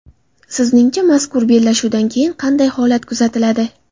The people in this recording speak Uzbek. Sizningcha, mazkur bellashuvdan keyin qanday holat kuzatiladi?